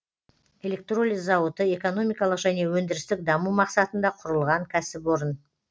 электролиз зауыты экономикалық және өндірістік даму мақсатында құрылған кәсіпорын